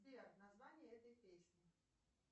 сбер название этой песни